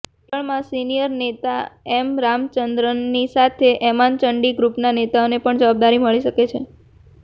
કેરળમાં સિનિયર નેતા એમ રામચંદ્રનની સાથે ઓમાન ચંડી ગ્રુપના નેતાને પણ જવાબદારી મળી શકે છે